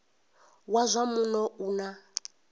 wa zwa muno u na